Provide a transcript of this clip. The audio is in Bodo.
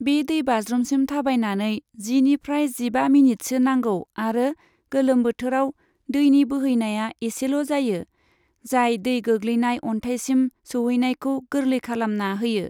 बे दैबाज्रुमसिम थाबायनानै जिनिफ्राय जिबा मिनिटसो नांगौ आरो गोलोम बोथोराव दैनि बोहैनाया इसेल' जायो, जाय दै गोग्लैनाय अन्थायसिम सौहैनायखौ गोरलै खालामना होयो।